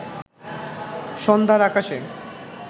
সন্ধ্যার আকাশে